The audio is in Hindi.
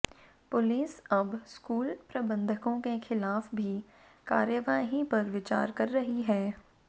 पुलिस अब स्कूल प्रबंधकों के खिलाफ भी कार्यवाही पर विचार कर रही है